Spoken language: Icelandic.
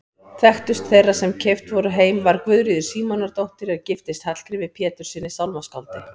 Þekktust þeirra sem keypt voru heim var Guðríður Símonardóttir er giftist Hallgrími Péturssyni sálmaskáldi.